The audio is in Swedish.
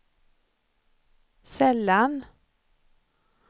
sällan